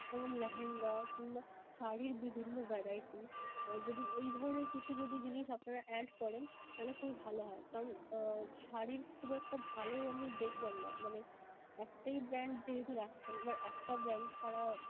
যেমনঃ লেহেঙ্গা কিংবা শাড়ীর বিভিন্ন variety যদি এই ধরণের কিছু যদি জিনিস আপনারা add করেন তাইলে খুবই ভালো হয়. Sorry শাড়ীর খুব একটা ভালো আমি দেখলাম না. মানে একটাই brand যেহেতু রাখছেন আবার একটা brand তাঁরা